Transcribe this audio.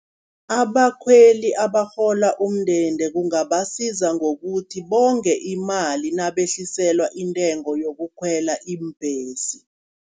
Abakhweli abarhola umndende kungabasiza ngokuthi bonge imali, nabehliselwa intengo yokukhwela iimbhesi.